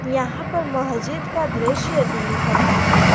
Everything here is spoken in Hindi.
यहां पर मस्जिद का दृश्य दिख रहा है।